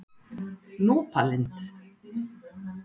Núpalind